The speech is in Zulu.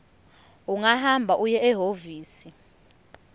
ungahamba uye ehhovisi